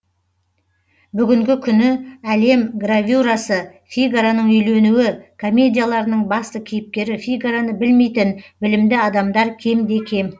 бүгінгі күні әлем гравюрасы фигароның үйленуі комедияларының басты кейіпкері фигароны білмейтін білімді адамдар кемде кем